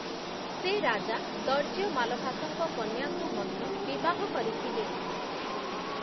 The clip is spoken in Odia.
ସେ ରାଜା ଦର୍ଯ୍ୟ ମାଲଭାସଙ୍କ କନ୍ୟାଙ୍କୁ ମଧ୍ୟ ବିବାହ କରିଥିଲେ ।